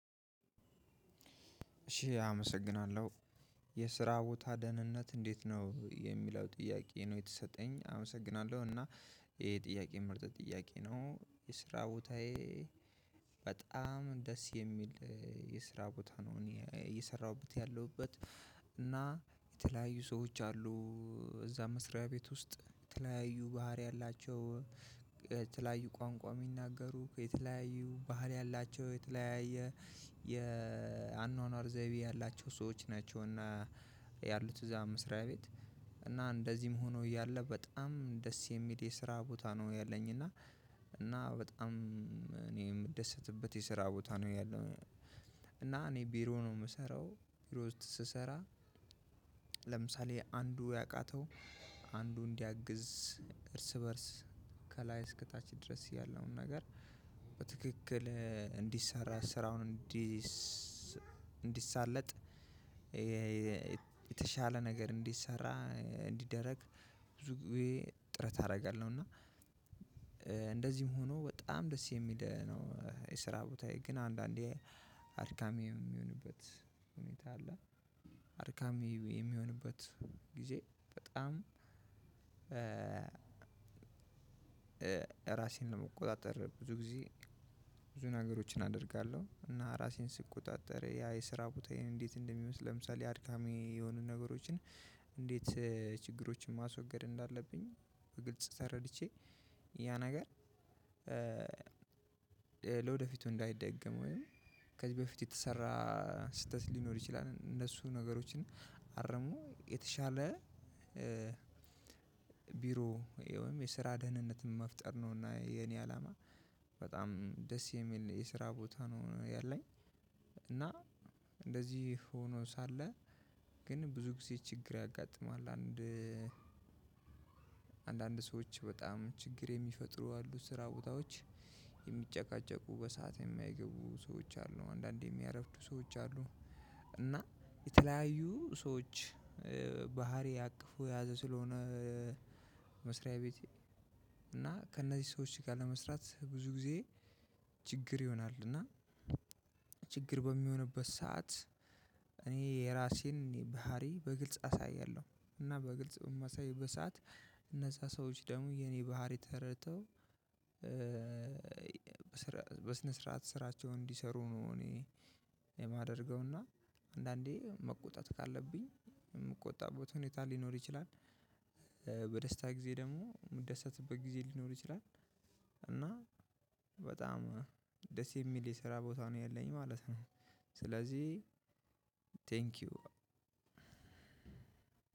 እሺ አመሰግናለሁ የስራ ቦታ ደህንነት እንዴት ነው የሚለው ጥያቄ ነው የተሰጠኝ አመሰግናለሁ እና ይሄ ጥያቄ ምርጥ ጥያቄ ነው የስራ ቦታዬ። በጣም ደስ የሚል የስራ ቦታ ነው እኔ እየሰራሁበት ያለሁበት። የተለያዩ ሰዎች አሉ። እዛ መስሪያ ቤት ውስጥ የተለያዩ ባህሪ ያላቸው የተለያዩ ቋንቋ የሚናገሩ ከተለያዩ ባህል ያላቸው የተለያየ የአኗኗር ዘይቤ ያላቸው ሰዎች ናቸው። እና ያሉት እዛ መስሪያ ቤት እና እንደዚህም ሆኖ እያለ በጣም ደስ የሚል የስራ ቦታ ነው። ያለኝ እና እና በጣም እኔ የምደሰትበት የስራ ቦታ ነው ያለው። እና እኔ ቢሮ ነው የምሰራው ቢሮ ውስጥ ስሰራ። ለምሳሌ አንዱ ያቃተው አንዱ እንዲያግዝ እርስ በእርስ ከላይ እስከታች ድረስ ያለውን ነገር በትክክል እንዲሰራ ስራውን እንዲሰራ እንዲሳለጥ። የተሻለ ነገር እንዲሰራ እንዲደረግ ብዙ ጊዜ ጥረት አደርጋለሁ። እና እንደዚህም ሆኖ በጣም ደስ የሚል ነው። የስራ ቦታዬ ግን አንዳንዴ አድካሚ የሚሆንበት ሁኔታ አለ። አድካሚ የሚሆንበት ጊዜ በጣም ራሴን ለመቆጣጠር ብዙ ጊዜ ብዙ ነገሮችን አደርጋለሁ። እና ራሴን ስቆጣጠር ያ የስራ ቦታዬን እንዴት እንደሚመስል ለምሳሌ አድካሚ የሆኑ ነገሮችን። እንዴት ችግሮችን ማስወገድ እንዳለብኝ በግልጽ ተረድቼ ያ ነገር ለወደፊቱ እንዳይደገም ወይም ከበፊት የተሰራ ስህተት ሊኖር ይችላል። እነሱ ነገሮችን አረሞ የተሻለ ቢሮ ወይም የስራ ደህንነትን መፍጠር ነውና የኔ አላማ በጣም ደስ የሚል የስራ ቦታ ነው ያለኝ። እና እንደዚህ ሆኖ ሳለ ግን ብዙ ጊዜ ችግር ያጋጥማል። አንድ አንዳንድ ሰዎች በጣም ችግር የሚፈጥሩ አሉ ስራ ቦታዎች የሚጨቃጨቁ በሰአት የማይገቡ ሰዎች አሉ። አንዳንዴ የሚያረፍዱ ሰዎች አሉ። እና የተለያዩ ሰዎች ባህሪ አቅፎ የያዘ ስለሆነ። መስሪያ ቤቴ እና ከእነዚህ ሰዎች ጋር ለመስራት ብዙ ጊዜ ችግር ይሆናል። እና ችግር በሚሆንበት ሰዓት እኔ የራሴን ባህሪ በግልጽ አሳያለሁ። እና በግልጽ በማሳይበት በሰአት እነዛ ሰዎች ደግሞ የኔ ባህሪ ተረድተው። በስን ስረዓት ሰራቸውን እንዲሰሩ እኔ የማደርገው እና አንዳንዴ መቆጣት ካለብኝ የምቆጣበት ሁኔታ ሊኖር ይችላል። በደስታ ጊዜ ደግሞ ምደሰትበት ጊዜ ሊኖር ይችላል። እና በጣም ደስ የሚል የሰራ ቦታ ነው ያለኝ ማለት ነው። ስለዚህ ቴንኪው።